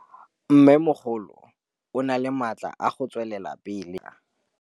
Mmêmogolo o na le matla a go tswelela pele ka matlhagatlhaga.